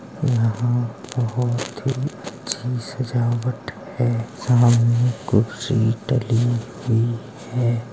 यहाँं बहुत ही अच्छी सजावट है। सामने कुर्सी डली हुई है।